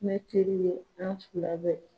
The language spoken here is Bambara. Ne teri ye an fila ye